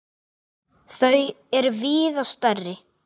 Þau er víða stærri.